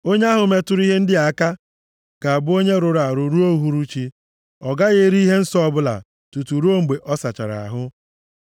Onye ahụ metụrụ ihe ndị a aka ga-abụ onye rụrụ arụ ruo uhuruchi. Ọ gaghị eri ihe nsọ ọbụla tutu ruo mgbe ọ sachara ahụ.